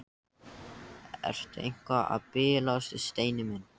Ertu eitthvað að bilast, Steini minn?